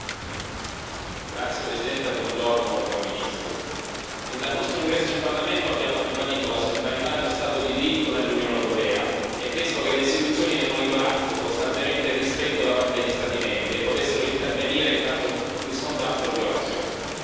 Signor Presidente, onorevoli colleghi, Primo ministro, fin dal nostro ingresso in Parlamento abbiamo ribadito la centralità dello Stato di diritto nell'Unione europea e chiesto che le istituzioni ne monitorassero costantemente il rispetto da parte degli Stati membri e potessero intervenire in caso riscontrassero violazioni.